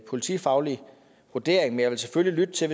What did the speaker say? politifaglig vurdering men jeg vil selvfølgelig lytte til